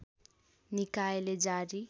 निकायले जारी